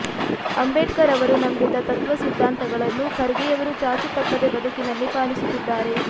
ಅಂಬೇಡ್ಕರ್ ಅವರು ನಂಬಿದ ತತ್ತ್ವ ಸಿದ್ಧಾಂತಗಳನ್ನು ಖರ್ಗೆಯವರು ಚಾಚೂತಪ್ಪದೆ ಬದುಕಿನಲ್ಲಿ ಪಾಲಿಸುತ್ತಿದ್ದಾರೆ